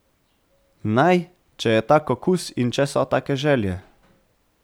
Naj, če je tak okus in če so take želje.